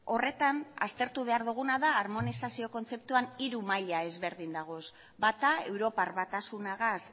horretan aztertu behar duguna da harmonizazio kontzeptuan hiru maila ezberdin daudela bata europar batasunagaz